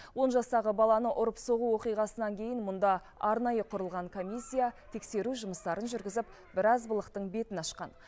он жастағы баланы ұрып соғу оқиғасынан кейін мұнда арнайы құрылған комиссия тексеру жұмыстарын жүргізіп біраз былықтың бетін ашқан